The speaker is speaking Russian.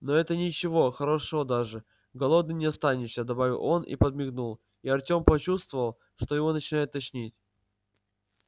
но это ничего хорошо даже голодным не останешься добавил он и подмигнул и артём почувствовал что его начинает тошнить